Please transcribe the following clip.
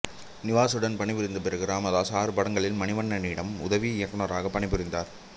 நிவாசுடன் பணிபுரிந்த பிறகு இராமதாஸ் ஆறு படங்களில் மணிவண்ணனிடம் உதவி இயக்குநராக பணிபுரிந்தார்